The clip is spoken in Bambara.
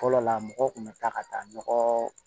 Fɔlɔ la mɔgɔ kun bɛ taa ka taa nɔgɔ